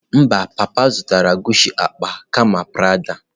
Mba, papa zụtara Guchi akpa kama Prada.